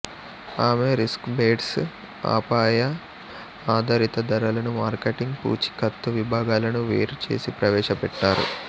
ఆమె రిస్క్బేస్డ్ అపాయఆధారిత ధరలను మార్కెటింగ్ పూచీకత్తు విభాగాలను వేరు చేసి ప్రవేశపెట్టారు